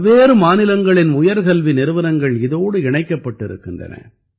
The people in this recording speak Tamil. பல்வேறு மாநிலங்களின் உயர்கல்வி நிறுவனங்கள் இதோடு இணைக்கப்பட்டிருக்கின்றன